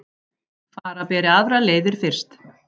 Fara beri aðrir leiðir fyrst